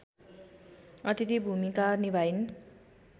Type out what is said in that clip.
अथिति भूमिका निभाइन्